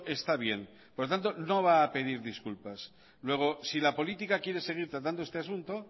está bien por lo tanto no va a pedir disculpas luego si la política quiere seguir tratando este asunto